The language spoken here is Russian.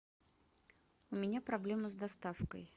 у меня проблемы с доставкой